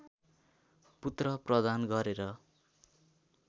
पुत्र प्रदान गरेर